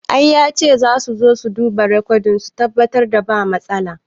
I yace zasu su zo su dubi rekodin su tabbatar ba matsala